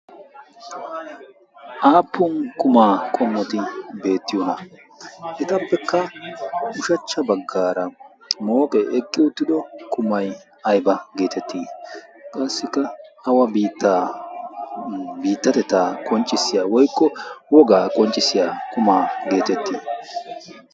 aapun qumaa qommoti de'iyoonaa? etapppekka mooqqee eqqi utidooge ayba geetettii? qassikka awa biitta woykko biitattetta qoncisiya qumaa geetettii?